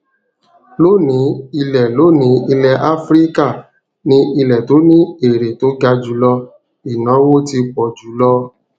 lónìí ilẹ lónìí ilẹ áfíríkà ni ilẹ to ni èrè to ga julo ìnáwó ti pọ jù lọ